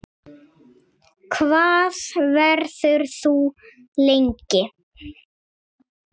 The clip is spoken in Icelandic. Hvað verður þú lengi?